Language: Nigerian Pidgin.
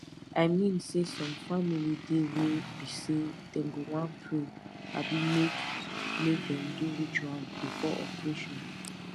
i mean saysome family dey wey be say dem go wan pray abi make make dem do ritual before operation